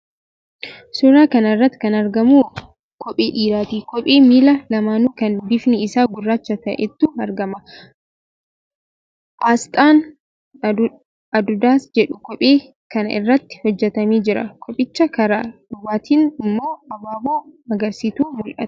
Suuraa kana irratti kan argamu kophee dhiiraati. Kophee miila lamaanuu kan bifni isaa gurraacha ta'etu argama. Aasxaan 'Adudas' jedhu kophee kana irratti hojjetamee jira. Kophicha karaa duubaatiin immoo abaaboo magariisatu mul'ata.